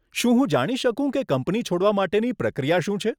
શું હું જાણી શકું કે કંપની છોડવા માટેની પ્રક્રિયા શું છે?